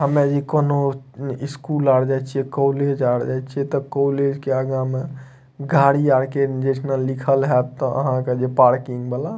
हम्मे इ कउनो स्कूल आर जाए छीये कॉलेज आर जाए छीये ते कॉलेज के आगा में गाड़ी आर के जे ठीना लिखल हेत आहां के पार्किंग वाला --